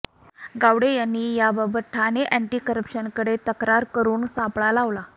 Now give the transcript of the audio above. गावडे यांनी याबाबत ठाणे अॅण्टी करप्शनकडे तक्रार करून सापळा लावला